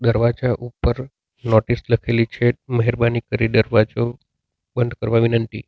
દરવાજા ઉપર નોટિસ લખેલી છે મહેરબાની કરી દરવાજો બંધ કરવા વિનંતી.